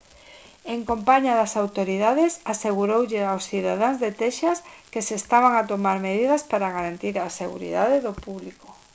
en compaña das autoridades aseguroulles aos cidadáns de texas que se estaban a tomar medidas para garantir a seguridade do público